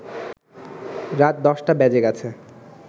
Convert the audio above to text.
রাত ১০টা বেজে গেছে